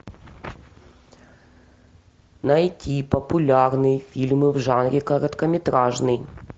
найти популярные фильмы в жанре короткометражный